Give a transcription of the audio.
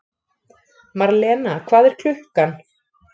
Marlena, hvað er klukkan?